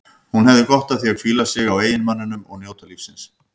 Hún hefði gott af að hvíla sig á eiginmanninum og njóta lífsins.